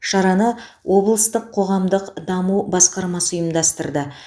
шараны облыстық қоғамдық даму басқармасы ұйымдастырды